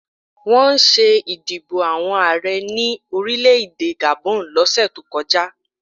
Wọ́n ṣé ìdìbò àwọn Ààrẹ ní orílẹ̀-èdè Gabon lọ́sẹ̀ tó kọjá